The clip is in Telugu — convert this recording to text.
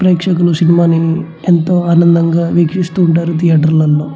ప్రేక్షకులు సినిమా ని ఎంతో ఆనందంగా వీక్షిస్తూ ఉంటారు థియేటర్ లలో.